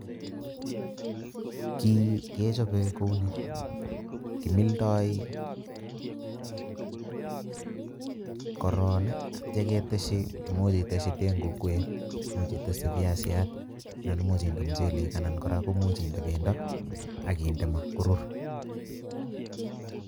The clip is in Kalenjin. Kii kechoben kouni kimildoi, korongi imuch iteshi ndeguk wee imuch iteshi piasiat anan imuch inde muchelek anan Koraa imuch inde pendo ak inde korur.